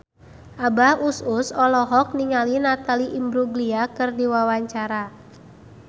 Abah Us Us olohok ningali Natalie Imbruglia keur diwawancara